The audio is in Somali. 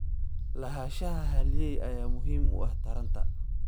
Lahaanshaha halyeey ayaa muhiim u ah taranta.